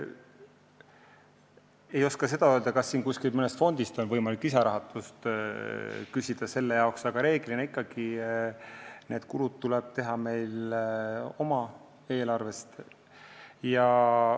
Ma ei oska öelda, kas mõnest fondist on võimalik selle jaoks lisarahastust küsida, aga reeglina tuleb need kulud meil oma eelarvest teha.